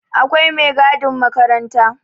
Akwai megadin makaranta